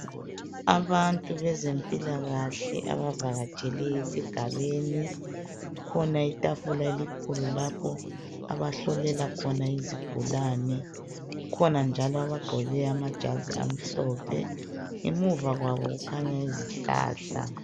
Abantu bezempilakahle abavakatshele esigabeni. Kukhona itafula elikhulu lapho abahlolela khona izigulane. Kukhona njalo abagqoke amajazi amhlophe. Ngemuva kwabo kukhanya izihlahla.